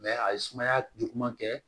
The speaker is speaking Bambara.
a ye sumaya juguman kɛ